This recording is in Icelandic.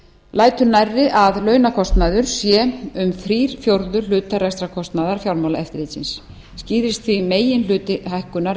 lætur nærri að launakostnaður sé um þrír fjórðu hlutar rekstrarkostnaðar fjármálaeftirlitsins skýrist því meginhluti hækkunar